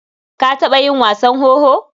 Ka taɓa yi wasan wowo?